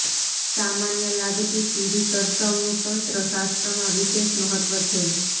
સામાન્ય લાગતી પીળી સરસવનું તંત્ર શાસ્ત્રમાં વિશેષ મહત્વ છે